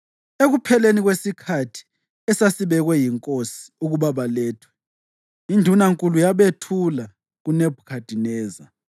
Ekupheleni kwesikhathi esasibekwe yinkosi ukuthi balethwe, indunankulu yabethula kuNebhukhadineza.